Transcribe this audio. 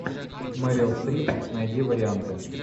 мэрил стрип найди варианты